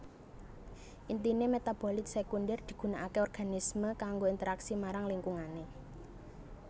Intine metabolit sekunder digunakake organisme kanggo interaksi marang lingkungane